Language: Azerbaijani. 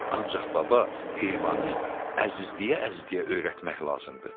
ancaq baba, heyvanı əzizləyə-əzizləyə öyrətmək lazımdır.